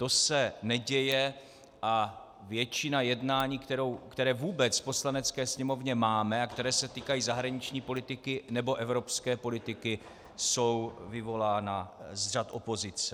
To se neděje a většina jednání, která vůbec v Poslanecké sněmovně máme a která se týkají zahraniční politiky nebo evropské politiky, jsou vyvolána z řad opozice.